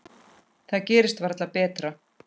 Það gerist varla betra.